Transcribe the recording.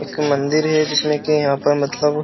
एक मंदिर है जिसमें कि यहां पर मतलब --